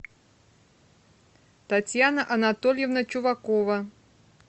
татьяна анатольевна чувакова